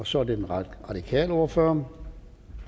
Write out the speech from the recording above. så er det den radikale ordfører